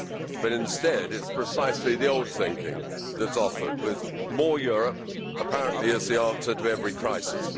But instead it is precisely the old thinking that is offered, with more Europe apparently being the answer to every crisis.